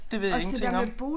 Det ved jeg ingenting om